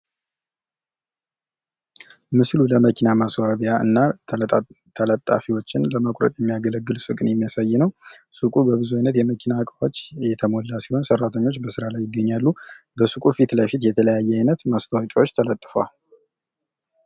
ምስሉ ለመኪና ማስዋቢያ እና ተለጣፊዎችን ለመቁረጥ የሚያገለግል ሱቅን የሚያሳይ ነው። ሱቁ በብዙ አይነት የመኪና እቃዎች የተሞላ ሲሆን ሰራተኞች በስራ ላይ ይገኛሉ። በሱቁ ፊትለፊት የተለያየ አይነት ማስታወቂያዎች ተለጥፈዋል።